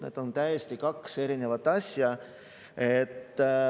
Need on kaks täiesti erinevat asja.